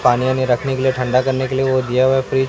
पानी वानी रखने के लिए ठंडा करने के लिए वो दिया हुआ है फ्रिज --